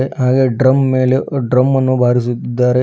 ಹಾಗೆ ಡ್ರಮ್ ಮೇಲೆ ಡ್ರಮ ನ್ನು ಬಾರಿಸುತಿದ್ದಾರೆ.